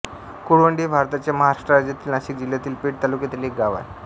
कुळवंडी हे भारताच्या महाराष्ट्र राज्यातील नाशिक जिल्ह्यातील पेठ तालुक्यातील एक गाव आहे